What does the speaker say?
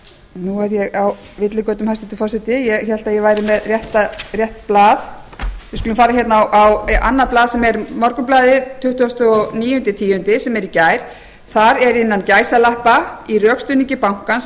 nú er ég á villigötum hæstvirtur forseti ég hélt að ég væri með rétt blað við skulum fara á annað blað sem er morgunblaðið tuttugasta og níunda október sem er í gær þar er innan gæsalappa með leyfi forseta í rökstuðningi bankans er